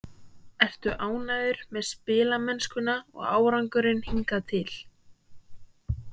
Ertu ánægður með spilamennskuna og árangurinn hingað til?